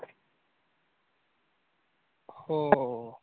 हो.